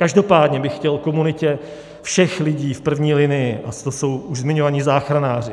Každopádně bych chtěl komunitě všech lidí v první linii, ať to jsou už zmiňovaní záchranáři,